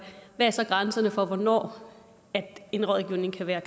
hvad er så grænserne for hvornår en rådgivning kan være